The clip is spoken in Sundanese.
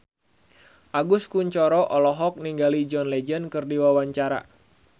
Agus Kuncoro olohok ningali John Legend keur diwawancara